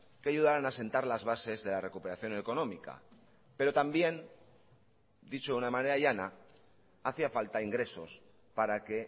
que ayudaron a sentar las bases de la recuperación económica pero también dicho de una manera llana hacía falta ingresos para que